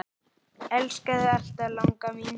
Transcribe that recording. Elska þig alltaf, langa mín.